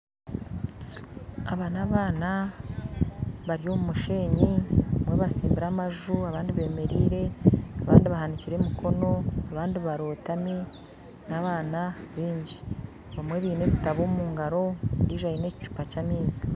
Aba n'abaana bari omu mushenyi nimwo batsimbire amaju abandi bemereire abandi bahanikire emikono abandi barotaami n'abaana baingi abamwe baine ebitabo omugaro ondiijo aine ekicuupa ky'amaizi